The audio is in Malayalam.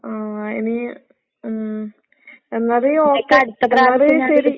ആഹ് ഇനി ഉം എന്നാല് ഓക്കെ. എന്നാല് ശെരി.